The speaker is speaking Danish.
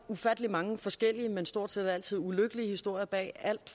ufattelig mange forskellige men stort set altid ulykkelige historier bag alt